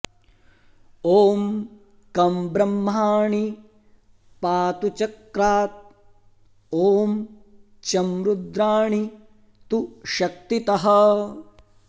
ॐ कं ब्रह्माणी पातु चक्रात् ॐ चं रुद्राणी तु शक्तितः